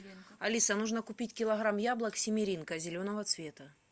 алиса нужно купить килограмм яблок семеренко зеленого цвета